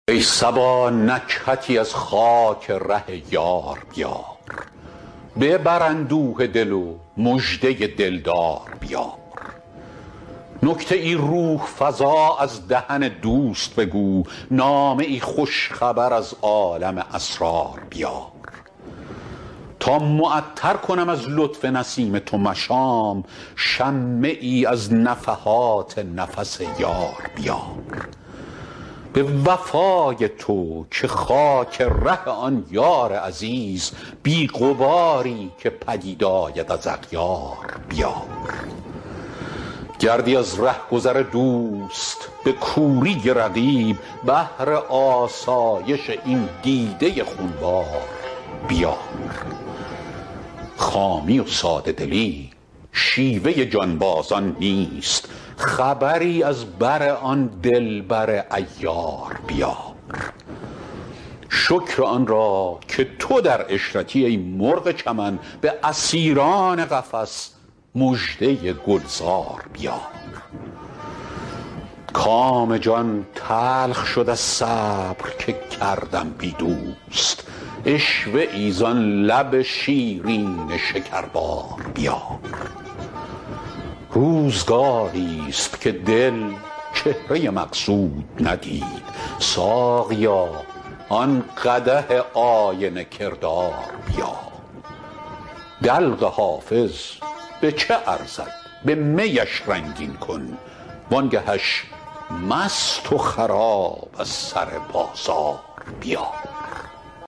ای صبا نکهتی از خاک ره یار بیار ببر اندوه دل و مژده دل دار بیار نکته ای روح فزا از دهن دوست بگو نامه ای خوش خبر از عالم اسرار بیار تا معطر کنم از لطف نسیم تو مشام شمه ای از نفحات نفس یار بیار به وفای تو که خاک ره آن یار عزیز بی غباری که پدید آید از اغیار بیار گردی از ره گذر دوست به کوری رقیب بهر آسایش این دیده خون بار بیار خامی و ساده دلی شیوه جانبازان نیست خبری از بر آن دل بر عیار بیار شکر آن را که تو در عشرتی ای مرغ چمن به اسیران قفس مژده گل زار بیار کام جان تلخ شد از صبر که کردم بی دوست عشوه ای زان لب شیرین شکربار بیار روزگاریست که دل چهره مقصود ندید ساقیا آن قدح آینه کردار بیار دلق حافظ به چه ارزد به می اش رنگین کن وان گه اش مست و خراب از سر بازار بیار